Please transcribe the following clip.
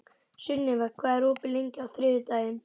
Sunniva, hvað er opið lengi á þriðjudaginn?